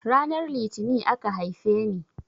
Ranar litini aka haifeni